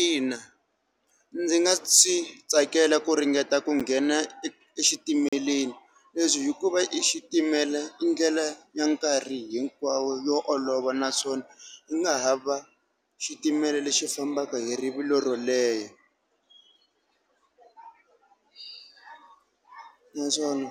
Ina, ndzi nga swi tsakela ku ringeta ku nghena e exitimeleni. Leswi hikuva i xitimela i ndlela ya nkarhi hinkwawo yo olova naswona hi nga hava xitimela lexi fambaka hi rivilo ro leha naswona,